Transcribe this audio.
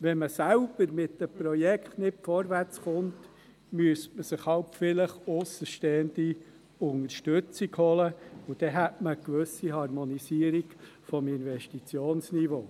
Wenn man selbst mit den Projekten nicht vorwärtskommt, müsste man sich halt vielleicht aussenstehende Unterstützung holen, und dann hätte man eine gewisse Harmonisierung des Investitions- niveaus.